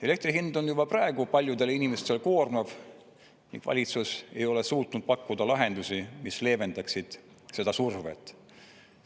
Elektri hind on juba praegu paljudele inimestele koormav ning valitsus ei ole suutnud pakkuda lahendusi, mis leevendaksid seda survet.